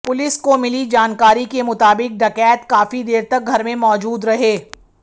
police को मिली जानकारी के मुताबिक डकैत काफी देर तक घर में मौजूद रहे